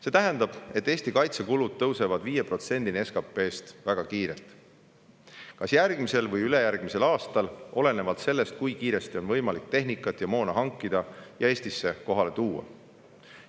See tähendab, et Eesti kaitsekulud tõusevad 5%-ni SKT-st väga kiirelt, kas järgmisel või ülejärgmisel aastal, olenevalt sellest, kui kiiresti on võimalik tehnikat ja moona hankida ja Eestisse kohale tuua.